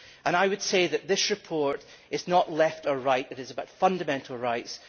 I would say that this report is not Left or Right it is about fundamental rights.